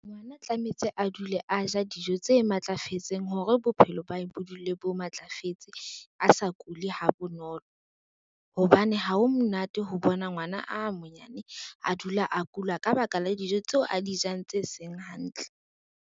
Ngwana tlametse a dule a ja dijo tse matlafetseng hore, bophelo ba hao bo dule bo matlafetse a sa kule ha bonolo. Hobane ha ho monate ho bona ngwana a monyane a dula a kula ka baka la dijo tseo a di jang tse seng hantle.